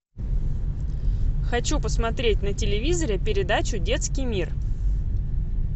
хочу посмотреть на телевизоре передачу детский мир